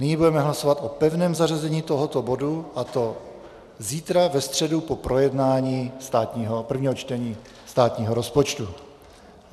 Nyní budeme hlasovat o pevném zařazení tohoto bodu, a to zítra, ve středu, po projednání prvního čtení státního rozpočtu.